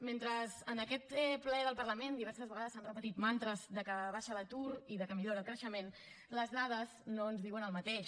mentre en aquest ple del parlament diverses vegades s’han repetit mantres com que baixa l’atur i que millora el creixement les dades no ens diuen el mateix